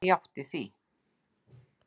Hann játti því.